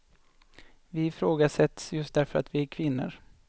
Vi ifrågasätts just därför att vi är kvinnor.